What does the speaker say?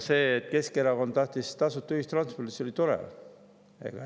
See, et Keskerakond tahtis tasuta ühistransporti, see oli tore.